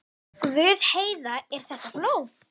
Guð, Heiða, er þetta blóð?